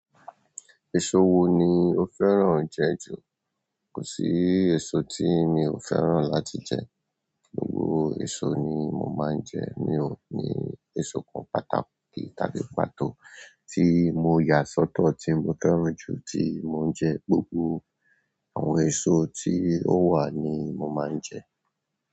Èso wo ni o fẹ́ràn jẹ ju? Kò sí èso tí mi ò fẹ́ràn láti jẹ, gbogbo èso ni mo máa ń jẹ. Mi ò ní èso kan pàtàkì tàbí pàtó tí mo yà sọ́tọ̀ tí mo fẹ́ràn jù tí mo ń jẹ, gbogbo àwọn èso tí ó wà ni mo máa ń jẹ.